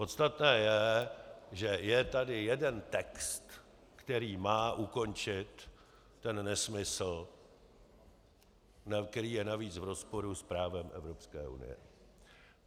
Podstatné je, že je tady jeden text, který má ukončit ten nesmysl, který je navíc v rozporu s právem Evropské unie.